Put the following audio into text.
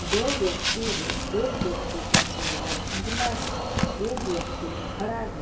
दो व्यक्ति है एक व्यक्ति का चेहरा धुंधला है एक व्यक्ति खड़ा है।